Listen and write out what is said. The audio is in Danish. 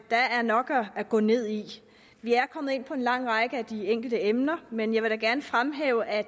der er nok at gå ned i vi er kommet ind på en lang række af de enkelte emner men jeg vil da gerne fremhæve at